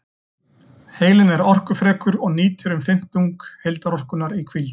Heilinn er orkufrekur og nýtir um fimmtung heildarorkunnar í hvíld.